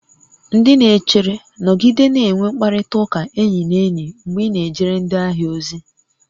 Ndị na-echere, nọgide na-enwe mkparịta ụka enyi na enyi mgbe ị na-ejere ndị ahịa ozi